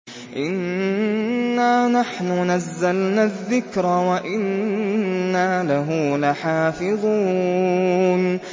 إِنَّا نَحْنُ نَزَّلْنَا الذِّكْرَ وَإِنَّا لَهُ لَحَافِظُونَ